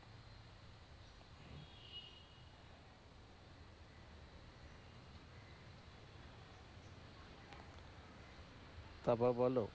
তারপর বলও